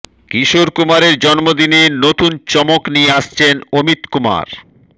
কিশোর কুমারের জন্মদিনে নতুন চমক নিয়ে আসছেন অমিত কুমার